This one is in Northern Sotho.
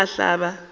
a ile a hlaba a